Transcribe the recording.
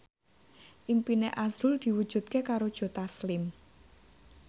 impine azrul diwujudke karo Joe Taslim